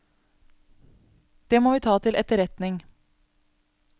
Det må vi ta til etterretning.